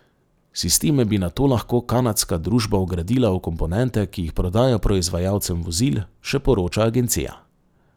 Sisteme bi nato lahko kanadska družba vgradila v komponente, ki jih prodaja proizvajalcem vozil, še poroča agencija.